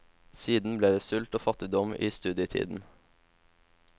Siden ble det sult og fattigdom i studietiden.